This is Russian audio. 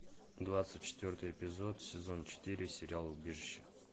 двадцать четвертый эпизод сезон четыре сериал убежище